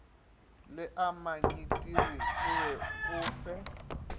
leamanyidiri o be o fe